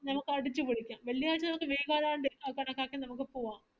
നമ്മൾക് അടിച്ചുപൊളിക്കാം വെള്ളിയാഴ്ച നമക് വീഗാലാൻഡ് അ കണക്കാക്കി നമക് പോവാം